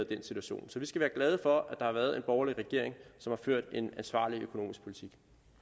den situation så vi skal være glade for at der har været en borgerlig regering som har ført en ansvarlig økonomisk politik